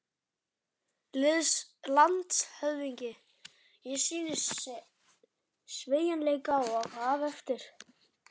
LANDSHÖFÐINGI: Ég sýndi sveigjanleika og gaf eftir.